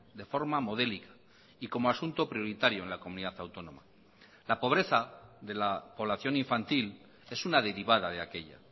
de forma modélica y como asunto prioritario en la comunidad autónoma la pobreza de la población infantil es una derivada de aquella